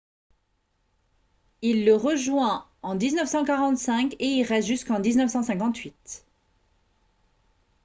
il le rejoint en 1945 et y reste jusqu'en 1958